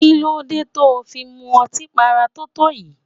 Kí ló dé tó fi ń mu ọtí para totoyi?